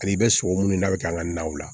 Ani i bɛ sogo minnu da k'an ka naw la